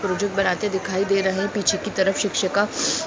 Project बनाते दिखाई दे रहे। पीछे की तरफ शिक्षिका --